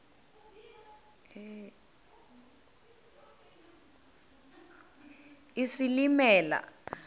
isilimela